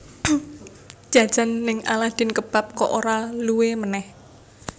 Njajan ning Aladin Kebab kok ora luwe meneh